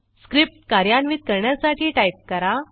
script कार्यान्वित करण्यासाठी type करा